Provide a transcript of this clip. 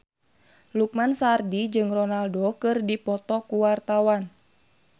Lukman Sardi jeung Ronaldo keur dipoto ku wartawan